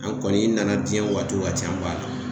An kɔni i nana jiɲɛ waati o waati an b'a la